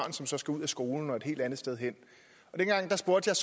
som så skal ud af skolen og et helt andet sted hen dengang spurgte jeg